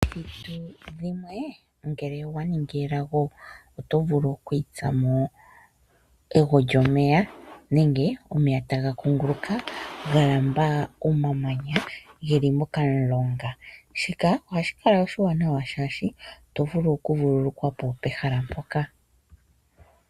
dhimwe ngele owa ningi elago oto vulu okuitsa mo ego lyomeya nenge omeya taga kunguluka ga lamba omamanya ge li mokamulonga, shika ohashi kala oshiwanawa, oshoka oto vulu okuvululukwa po pokamulonga mpoka.